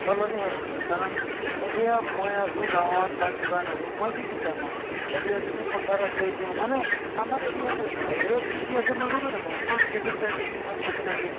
সলনি হৈ পৰে কাৰণ এতিয়া মই আছো গাঁৱত বা কিবাত আছো মই কি কি এতিয়া যদি পথাৰ আছে এইটো মানে আমাৰ area তোয়ে বাহিৰত কি কি আছে মই গমে নাপাওঁ অকল TV ত চাই থাকিম বা শুনি থাকিম